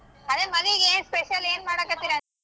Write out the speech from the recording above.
ಅದೆ ಮದ್ವಿಗೆ ಏನ್ ಏನ್ special ಏನ್ ಮಾಡಾಕತಿರಿ .